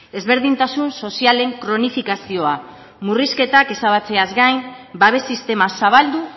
ezberdintasun sozialen kronifikazioa murrizketak ezabatzeaz gain babes sistema zabaldu